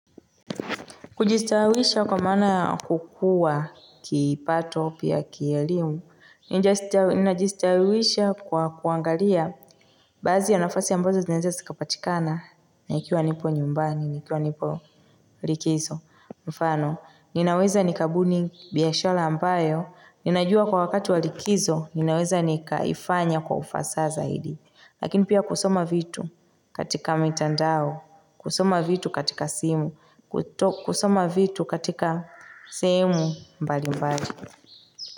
Kujistawisha kwa mana kukua kipato pia kielimu, ninajistawisha kwa kuangalia bazi ya nafasi ambazo zineze sikapatikana ikiwa nipo nyumbani, nikiwa nipo likizo, mfano, ninaweza nikabuni biyashala ambayo, ninajua kwa wakati walikizo, ninaweza nikaifanya kwa ufasa zaidi. Lakini pia kusoma vitu katika mitandao, kusoma vitu katika simu, kusoma vitu katika sehemu mbali mbali.